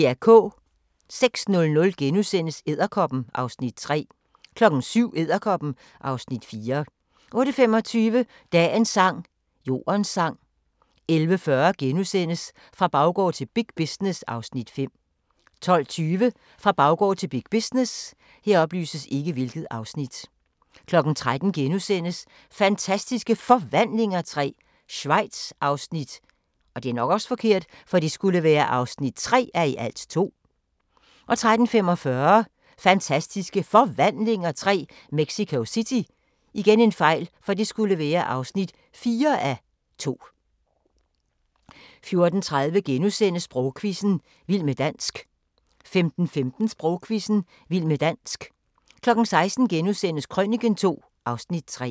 06:00: Edderkoppen (Afs. 3)* 07:00: Edderkoppen (Afs. 4) 08:25: Dagens sang: Jordens sang 11:40: Fra baggård til big business (Afs. 5)* 12:20: Fra baggård til big business 13:00: Fantastiske Forvandlinger III – Schweiz (3:2)* 13:45: Fantastiske Forvandlinger III – Mexico City (4:2) 14:30: Sprogquizzen – vild med dansk * 15:15: Sprogquizzen – vild med dansk 16:00: Krøniken II (Afs. 3)*